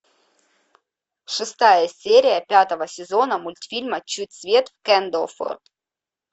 шестая серия пятого сезона мультфильма чуть свет в кэндлфорд